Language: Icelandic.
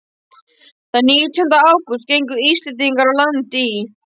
Þann nítjánda ágúst gengu Íslendingarnir á land í